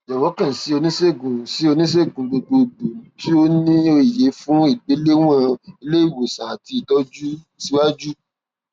jọwọ kàn sí oniṣegun sí oniṣegun gbogbogbò tó ni òye fun igbelewọn ileiwosan ati itọju siwaju